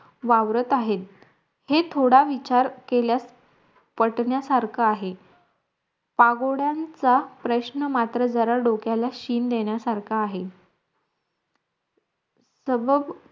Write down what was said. वावरत आहेत हे थोडा विचार केल्यास पटण्या सारखं आहे पागोड्यांचा प्रश्न मात्र जरा डोक्याला शिन देण्यासारखा आहे तवव